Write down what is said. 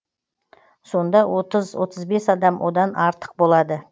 сонда отыз отыз бес адам одан артық болады